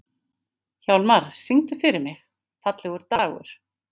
Hjálmar, syngdu fyrir mig „Fallegur dagur“.